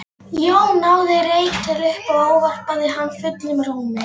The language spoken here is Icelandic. Jón náði reyk, leit upp og ávarpaði hann fullum rómi.